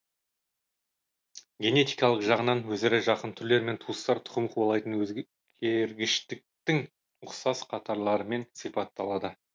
генетикалық жағынан өзара жақын түрлер мен туыстар тұқым қуалайтын өзгергіштіктің ұқсас қатарларымен сипатталады